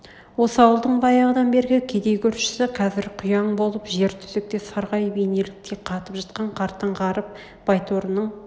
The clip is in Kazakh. осы ауылдың баяғыдан бергі кедей көршісі қазір құяң болып жер төсекте сарғайып инелктей қатып жатқан қартаң ғарып байторының